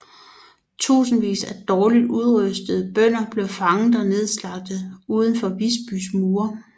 Tusindvis af dårligt udrustede bønder blev fanget og nedslagtet uden for Visbys mure